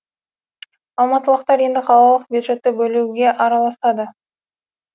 алматылықтар енді қалалық бюджетті бөлуге араласады